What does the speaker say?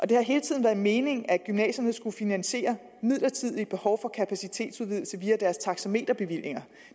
det har hele tiden været meningen at gymnasierne skulle finansiere midlertidige behov for kapacitetsudvidelse via deres taxameterbevillinger